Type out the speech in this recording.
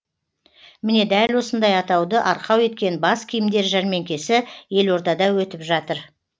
міне дәл осындай атауды арқау еткен бас киімдер жәрмеңкесі елордада өтіп жатыр